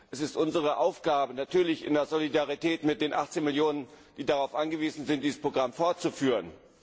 Es ist unsere Aufgabe natürlich in Solidarität mit den 18 Millionen Menschen, die darauf angewiesen sind dieses Programm fortzuführen.